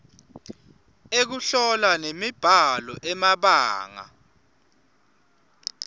ekuhlola nemibhalo emabanga